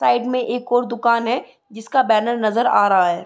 Side में एक और एक दुकान है जिसका बैनर नजर आ रहा है।